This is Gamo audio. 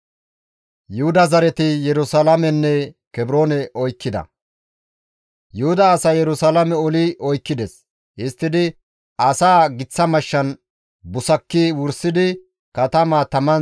Yuhuda asay Yerusalaame oli oykkides; histtidi asaa giththa mashshan busakki wursidi katamaa taman xuuggides.